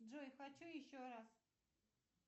джой хочу еще раз